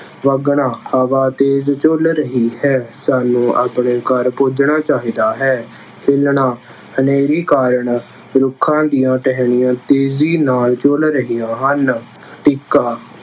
ਵਗਣਾ- ਹਵੀ ਤੇਜ਼ ਝੁੱਲ ਰਹੀ ਹੈ, ਸਾਨੂੰ ਅਪਣੇ ਘਰ ਪੁੱਜਣਾ ਚਾਹੀਦਾ ਹੈ। ਹਿੱਲਣਾ- ਹਨੇਰੀ ਕਾਰਨ ਰੁੱਖਾਂ ਦੀਆਂ ਟਹਿਣੀਆਂ ਤੇਜ਼ੀ ਨਾਲ ਝੁੱਲ ਰਹੀਆ ਹਨ। ਟਿੱਕਾ-